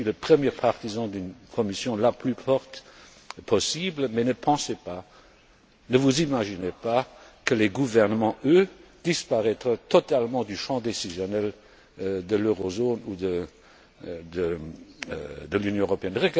Je suis le premier partisan d'une Commission la plus forte possible. Mais ne pensez pas, ne vous imaginez pas que les gouvernements, eux, disparaîtront totalement du champ décisionnel de l'Eurozone ou de l'Union européenne.